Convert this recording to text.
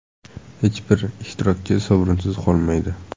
Hech bir ishtirokchi sovrinsiz qolmaydi!